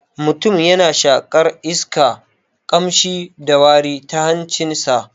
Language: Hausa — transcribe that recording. Mutum yana shaƙan iska, ƙamshi da wari ta hancin sa.